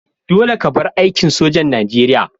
Dolle ka bar aikin sojar Nijeriya!